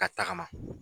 Ka tagama